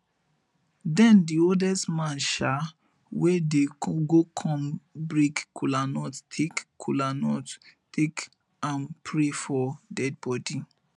den di oldest man um wey dey go kon break kolanut take kolanut take am pray for dead bodi